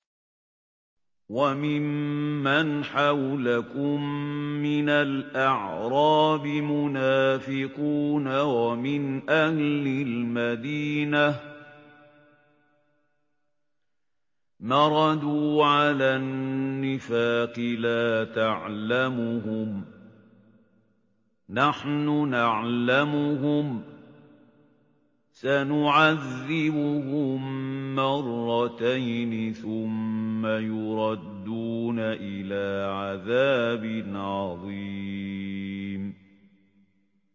وَمِمَّنْ حَوْلَكُم مِّنَ الْأَعْرَابِ مُنَافِقُونَ ۖ وَمِنْ أَهْلِ الْمَدِينَةِ ۖ مَرَدُوا عَلَى النِّفَاقِ لَا تَعْلَمُهُمْ ۖ نَحْنُ نَعْلَمُهُمْ ۚ سَنُعَذِّبُهُم مَّرَّتَيْنِ ثُمَّ يُرَدُّونَ إِلَىٰ عَذَابٍ عَظِيمٍ